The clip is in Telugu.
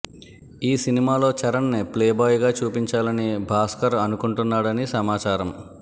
ఈ సినిమాలో చరణ్ ని ప్లేబాయ్ గా చూపించాలని భాస్కర్ అనుకుంటున్నాడని సమాచారమ్